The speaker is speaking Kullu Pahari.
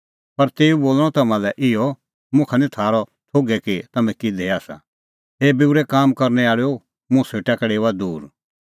पर तेऊ बोल़णअ तम्हां लै इहअ मुखा निं थारअ थोघै कि तम्हैं किधे आसा हे बूरै काम करनै आल़ैओ मुंह सेटा का डेओआ दूर